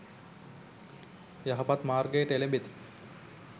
යහපත් මාර්ගයට එළැඹෙති.